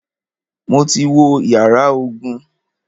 Mo ti wo yàrá ogun.